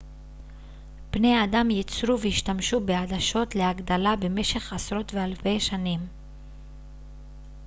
בני אדם ייצרו והשתמשו בעדשות להגדלה במשך עשרות ואלפי שנים